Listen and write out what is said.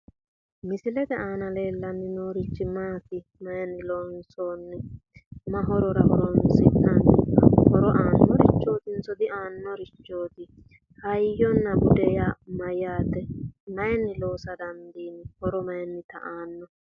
Misilete aanna leelanni noorichi maati? Mayinni loonsoonniho? Mahorora horoonsi'nanni? Horo aannorichootinso diaanorichooti? Hayyonna bude yaa mayaate? Mayinni loossa dandiinni? Horo mayinnita aano?